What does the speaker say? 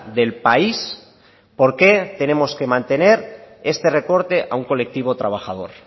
del país por qué tenemos que mantener este recorte a un colectivo trabajador